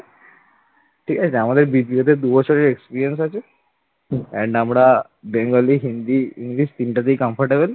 . ঠিক আছে আমাদের দ্বিতীয়ত দু বছরের experience আছে and আমরা bengali, hindi, english তিনটাতেই comfortable ।